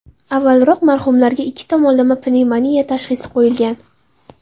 Avvalroq marhumlarga ikki tomonlama pnevmoniya tashxisi qo‘yilgan.